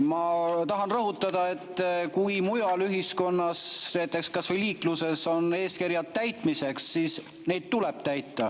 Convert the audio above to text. Ma tahan rõhutada, et kui mujal ühiskonnas, näiteks kas või liikluses, on eeskirjad täitmiseks, siis neid tuleb täita.